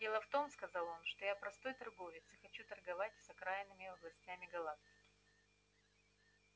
дело в том сказал он что я простой торговец и хочу торговать с окраинными областями галактики